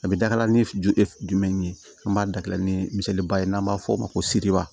A bɛ dala ni jomɛ an b'a dabila ni miseba ye n'an b'a fɔ o ma ko seere